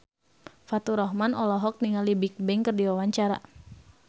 Faturrahman olohok ningali Bigbang keur diwawancara